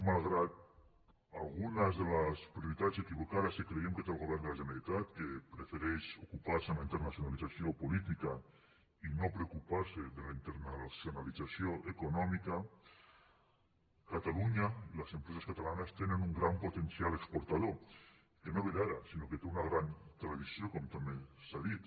malgrat algunes de les prioritats equivocades que creiem que té el govern de la generalitat que prefereix ocupar se en la internacionalització política i no preocupar se de la internacionalització econòmica catalunya i les empreses catalanes tenen un gran potencial exportador que no ve d’ara sinó que té una gran tradició com també s’ha dit